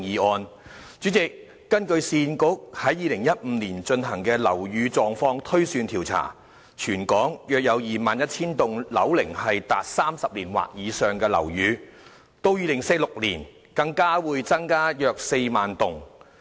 代理主席，根據市區重建局在2015年進行的"樓宇狀況推算調查"，全港約有 21,000 幢樓齡達30年或以上的樓宇，到2046年，更會增加約4萬幢。